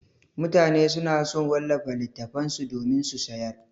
Mutane suna so su wallafa littattafan su domin su sayar.